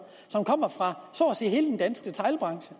som kommer fra så at sige hele den danske detailbranche